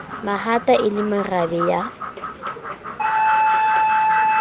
mahata e le marabe ya